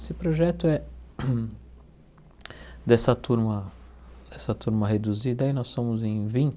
Esse projeto é dessa turma, dessa turma reduzida aí, e nós somos em